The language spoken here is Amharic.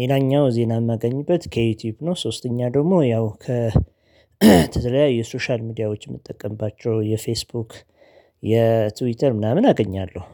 ሌላኛው ዜና የማገኝበት ከዩቲዩብ ነው። ሶስተኛ ደግሞ ያው ከተለያዩ የሶሻል ሚዲያዎች የምጠቀምባቸው የፌስቡክ የትዊተር ምናምን አገኛለሁ